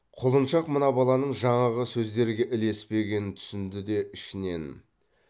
құлыншақ мына баланың жаңағы сөздерге ілеспегенін түсінді де ішінен